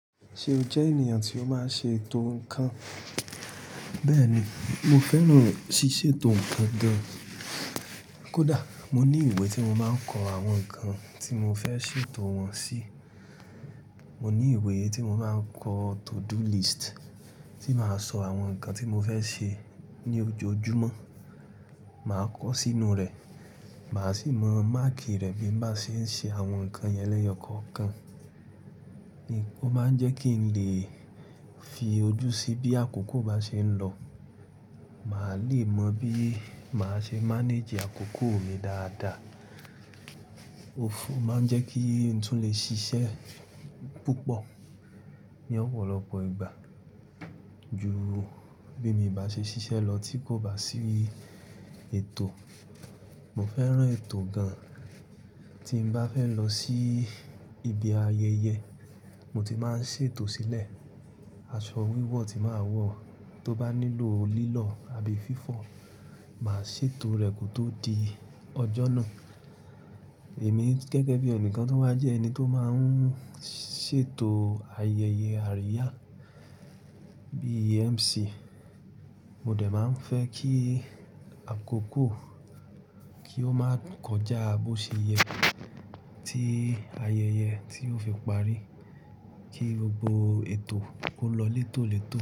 Ṣe o jẹ ènìyàn tí ó máa ń ṣe ètò nǹkan? Bẹ́ẹ̀ni, mo fẹ́ràn ṣíṣe ètò nǹkan gan. Kódà mo ní ìwé tí mo máa ń kọ àwọn nǹkan tí mo fẹ́ ṣètò wọn sí. Mo ní ìwé tí mo máa ń kọ to-do list tí màá sọ àwọn nǹkan tí mo fẹ́ ṣe ní ojoojúmọ́, màá kọ sínú rẹ̀. Màá sì mọ máàkì rẹ̀ bí mo bá ṣe ń ṣe àwọn nǹkan yẹn lẹ́ẹ̀yọ̀kọ̀ọ̀kan. Ó máa ń jẹ́ kí n lè fi ojú sí bí àkókò bá ṣe ń lọ. Màá lè mọ bí màá ṣe manage àkókò mi dáadáa. Ó fún, ó máa ń jẹ́ kí ǹ tún lè ṣiṣẹ́ púpọ̀ ní ọ̀pọ̀lọpọ̀ ìgbà ju bí mi i bá ṣe ṣiṣẹ́ lọ tí kò bá sí ètò. Mo fẹ́ràn ètò gan. Tí mo bá fẹ́ lọ sí ibi ayẹyẹ, mo ti máa ń ṣètò sílẹ̀. Aṣọ wíwọ̀ tí màá wọ̀, tó bá nílò lílọ̀ àbí fífọ̀, màá ṣètò rẹ̀ kò tó di ọjọ́ náà. Èmi gẹ́gẹ́ bí ẹnìkan tun wá jẹ́ ẹni tó máa ń ṣètò ayẹyẹ àríyá bí MC, mo dẹ̀ máa ń fẹ́ kí àkókò kí ó máa kọjá bó ṣe yẹ tí ayẹyẹ tí ó fi parí. Kí gbogbo ètò kó lọ létòlètò.